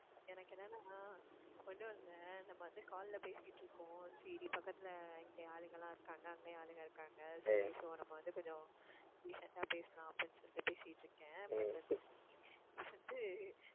எனக்கு என்னன்னா ஒண்ணுமில்ல நம்ம வந்து call ல பேசிட்டு இருக்கோம். சரி பக்கத்துல இங்க ஆளுங்கல்லாம் இருக்காங்க அங்கேயும் ஆளுங்க இருக்காங்க சரி so நம்ம வந்து கொஞ்சம் decent ஆ பேசலாம் அப்படின்னு சொல்லி பேசிட்டு இருக்கேன் but வந்து வந்து